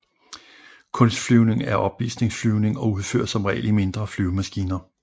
Kunstflyvning er opvisningsflyvning og udføres som regel i mindre flyvemaskiner